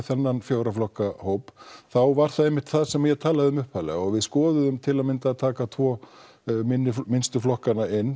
þennan fjögurra flokka hóp þá var það einmitt það sem ég talaði um upphaflega og við skoðuðum til að mynda að taka tvo minnstu flokkana inn